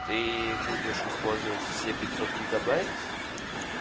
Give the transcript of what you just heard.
ты будешь использовать все пятьсот гигабайт